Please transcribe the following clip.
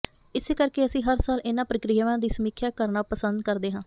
ਇਸੇ ਕਰਕੇ ਅਸੀਂ ਹਰ ਸਾਲ ਇਨ੍ਹਾਂ ਪ੍ਰਕਿਰਿਆਵਾਂ ਦੀ ਸਮੀਖਿਆ ਕਰਨਾ ਪਸੰਦ ਕਰਦੇ ਹਾਂ